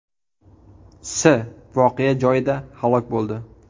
S. voqea joyida halok bo‘ldi.